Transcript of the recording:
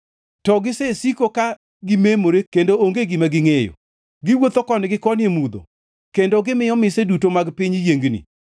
To gisesiko ka gimemore kendo onge gima gingʼeyo. Giwuotho koni gi koni e mudho; kendo gimiyo mise duto mag piny yiengni.